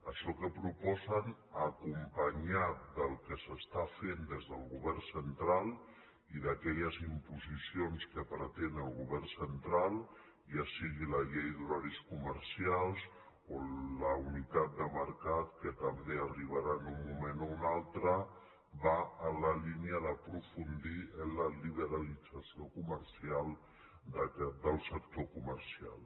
això que proposen acompanyat del que s’està fent des del govern central i d’aquelles imposicions que pre·tén el govern central ja sigui la llei d’horaris comer·cials o la d’unitat de mercat que també arribarà en un moment o un altre va en la línia d’aprofundir en la liberalització del sector comercial